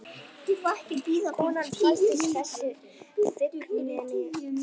Konan faldi þessi fíkniefni innvortis